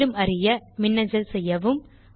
மேலும் அறிய மெயில் எழுதவும்